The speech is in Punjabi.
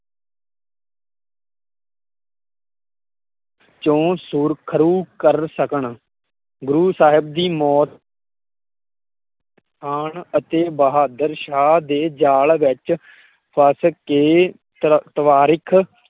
ਚੋਂ ਸੁਖਰੂ ਕਰ ਸਕਣ। ਗੁਰੁ ਸਾਹਿਬ ਦੀ ਮੌਤ ਹੋਣ ਅਤੇ ਬਹਾਦਰ ਸ਼ਾਹ ਦੇ ਜਾਲ ਵਿੱਚ ਫਸ ਕੇ